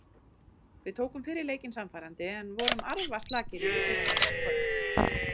Við tókum fyrri leikinn sannfærandi en vorum arfaslakir í fyrri hálfleik í kvöld.